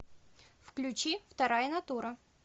включи вторая натура